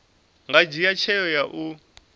nga dzhia tsheo ya u